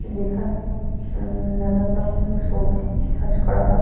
যেখানে উম নানান রকম সবজি চাষ করা হয়।